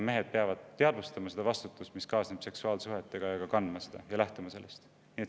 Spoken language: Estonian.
Mehed peavad teadvustama vastutust, mis kaasneb seksuaalsuhetega, seda vastutust kandma ja sellest lähtuma.